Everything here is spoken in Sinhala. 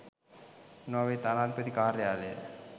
නෝර්වේ තානාපති කාර්යාලය